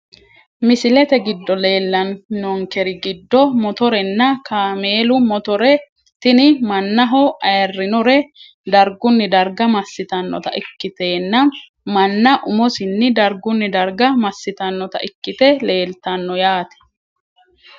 Misilete giddo leelanonkeri giddo motorenna kaameelu motore tini manaho ayirinore darguni darga masitanota ikittenna mana umosinii darguni darga masitanota ikite leeltano yaate.